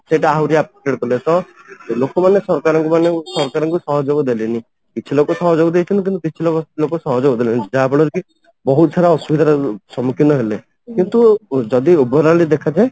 ସେଇଟା ଆହୁରି affected କଲେ ତ ଲୋକ ମାନେ ସରକାରଙ୍କୁ ମାନେ ସରକାରଙ୍କୁ ସହଯୋଗ ଦେଲେନି କିଛି ଲୋକ ସହଯୋଗ ଦେଇଛନ୍ତି କିନ୍ତୁ କିଛି ଲୋକ ସହଯୋଗ ଦେଲେନି ଯାହା ଫଳରେ କି ବହୁତ ସାରା ଅସୁବିଧାର ସମୁଖୀନ ହେଲେ କିନ୍ତୁ ଯଦି Overally ଦେଖାଯାଏ